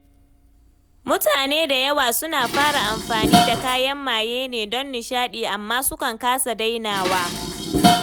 Mutane da yawa suna fara amfani da kayan maye ne don nishaɗi, amma sukan kasa dainawa.